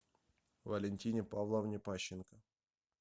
валентине павловне пащенко